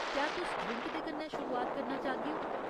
क्या तुस ड्रिंक दे कन्नै शुरुआत करना चाह्गेओ ?